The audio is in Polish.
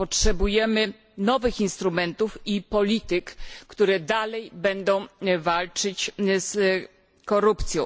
Potrzebujemy nowych instrumentów i polityk, które będą dalej walczyć z korupcją.